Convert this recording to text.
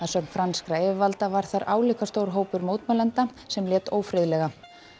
sögn franskra yfirvalda var þar álíka stór hópur mótmælenda sem lét ófriðlega